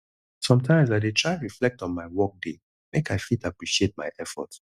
sometimes i dey try reflect on my workday make i fit appreciate my effort